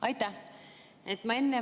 Aitäh!